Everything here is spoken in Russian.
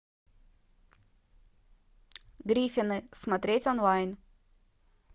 гриффины смотреть онлайн